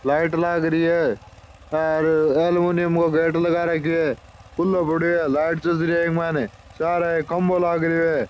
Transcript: लाइट लाग रही है हेर एल्मुनियम काे गेट लगा रख्यो है खुलो पड़यो है लाइट चस रही है इक मायने सारे एक खम्बो लाग रहियो है।